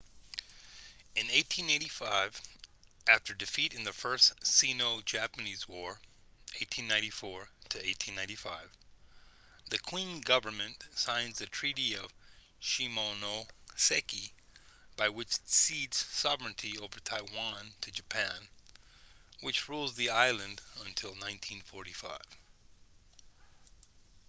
in 1895 after defeat in the first sino-japanese war 1894-1895 the qing government signs the treaty of shimonoseki by which it cedes sovereignty over taiwan to japan which rules the island until 1945